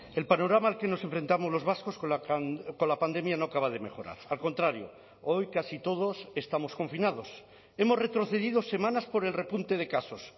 el panorama al que nos enfrentamos los vascos con la pandemia no acaba de mejorar al contrario hoy casi todos estamos confinados hemos retrocedido semanas por el repunte de casos